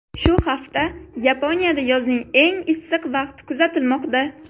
Shu hafta Yaponiyada yozning eng issiq vaqti kuzatilmoqda.